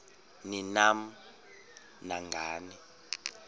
ni nam nangani